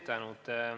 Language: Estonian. Tänan!